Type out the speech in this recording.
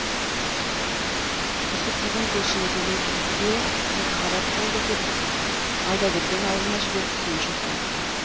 түсіп деген көршіні төлебике екіқабат болды деп алдаберген ауылына жіберіп сүйінші сұратты